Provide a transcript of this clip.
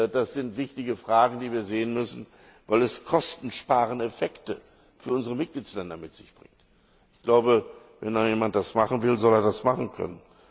Das sind wichtige Fragen, die wir sehen müssen, weil es kostensparende Effekte für unsere Mitgliedsländer mit sich bringt. Wenn jemand das machen will, soll er das machen können.